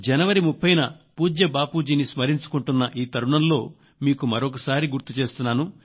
జనవరి 30 న పూజ్య బాపూజీని స్మరించుకుంటున్న ఈ తరుణంలో మీకు మరొకసారి గుర్తు చేస్తున్నాను